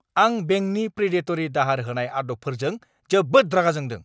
आं बेंकनि प्रिडेटरि दाहार होनाय आदबफोरजों जोबोद रागा जोंदों।